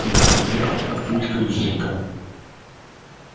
например папулька изрекал